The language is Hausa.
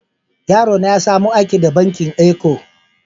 Yaro na ya samu aiki da bankin Eco.